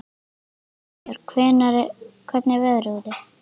Hildibjörg, hvernig er veðrið úti?